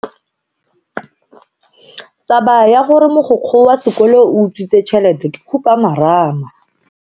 Taba ya gore mogokgo wa sekolo o utswitse tšhelete ke khupamarama.